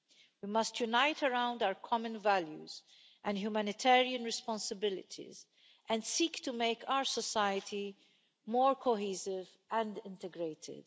We must unite around our common values and humanitarian responsibilities and seek to make our society more cohesive and integrated.